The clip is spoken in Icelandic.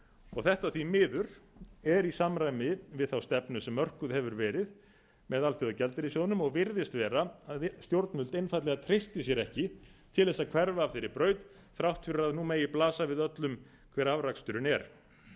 og þetta því miður er í samræmi við þá stefnu sem mörkuð hefur meira með alþjóðagjaldeyrissjóðnum og virðist vera að stjórnvöld einfaldlega treysti sér ekki til þess að hverfa af þeirri braut þrátt fyrir að nú megi blasa við öllum hver afraksturinn er